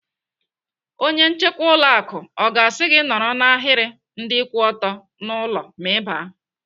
Onye nchekwa ụlọ akụ ọ ga-asị gị nọrọ n'ahiri ndị kwụ ọtọ n'ụlọ ma Ị baa?